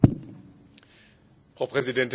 Frau Präsidentin, meine Damen und Herren!